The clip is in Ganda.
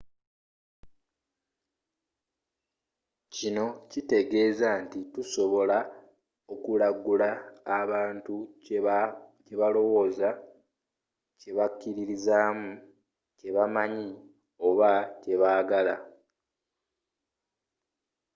kino kitegeeza nti tusobola okulagula abantu kye balowooza kye bakkiririzamu kye bamanyi oba kye baagala